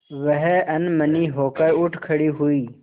वह अनमनी होकर उठ खड़ी हुई